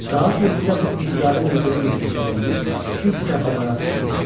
Saat 7-də bu intizarın yuxulu yeknəsəkliyi ilk dəfə olaraq pozulur.